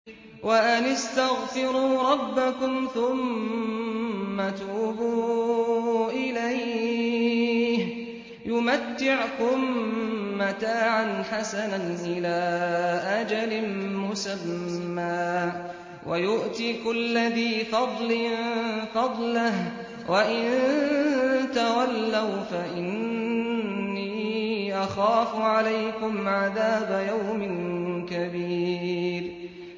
وَأَنِ اسْتَغْفِرُوا رَبَّكُمْ ثُمَّ تُوبُوا إِلَيْهِ يُمَتِّعْكُم مَّتَاعًا حَسَنًا إِلَىٰ أَجَلٍ مُّسَمًّى وَيُؤْتِ كُلَّ ذِي فَضْلٍ فَضْلَهُ ۖ وَإِن تَوَلَّوْا فَإِنِّي أَخَافُ عَلَيْكُمْ عَذَابَ يَوْمٍ كَبِيرٍ